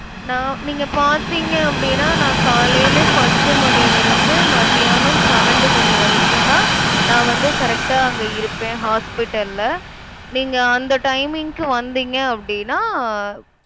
நான் நீங்க பாத்தீங்க அப்டினா நான் காலைல பத்து மணில இருந்து மத்தியானம் பன்னெண்டு மணி வரைக்கும் தான் நான் வந்து correct ஆ அங்க இருப்பேன் hospital ல. நீங்க அந்த timing கு வந்தீங்க அப்டினா